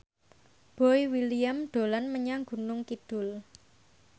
Boy William dolan menyang Gunung Kidul